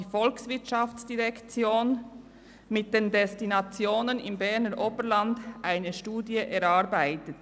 Bereits 2007 hat die VOL mit den Destinationen im Berner Oberland eine Studie erarbeitet.